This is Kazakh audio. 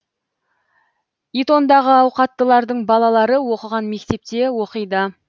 итондағы ауқаттылардың балалары оқыған мектепте оқиды